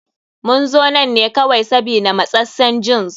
Mun zo nan ne kawai sabida matsassen jins.